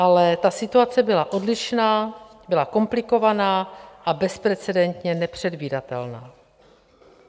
Ale ta situace byla odlišná, byla komplikovaná a bezprecedentně nepředvídatelná.